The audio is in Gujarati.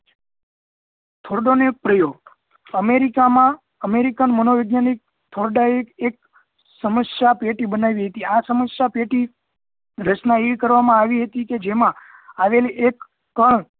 thordo નો પ્રયોગ america માં american મનોવેજ્ઞાનીક thorde એ એક સમસ્યા પેટી બનાવી હતી આ સમસ્યા પેટી એવુ બનાવી હતી કે જેમાં ઍક કર દબાવ